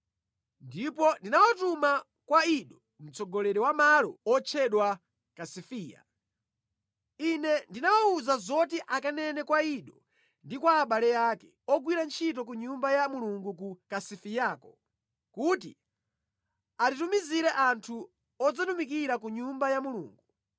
ndipo ndinawatuma kwa Ido, mtsogoleri wa malo otchedwa Kasifiya. Ine ndinawawuza zoti akanene kwa Ido ndi kwa abale ake, ogwira ntchito ku Nyumba ya Mulungu ku Kasifiyako, kuti atitumizire anthu odzatumikira ku Nyumba ya Mulungu.